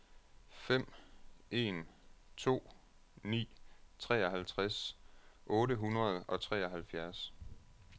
fem en to ni treoghalvtreds otte hundrede og treoghalvfjerds